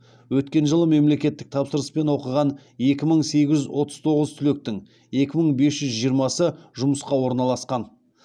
өткен жылы мемлекеттік тапсырыспен оқыған екі мың сегіз жүз отыз тоғыз түлектің екі мың бес жүз жиырмасы жұмысқа орналасқан